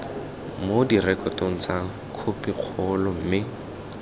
mo direkotong tsa khopikgolo mme